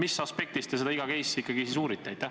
Mis aspektist te iga case'i siis ikkagi uurite?